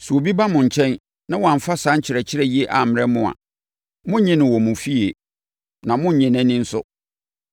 Sɛ obi ba mo nkyɛn na wamfa saa nkyerɛkyerɛ yi ammrɛ mo a, monnnye no wɔ mo efie, na monnnye nʼani nso.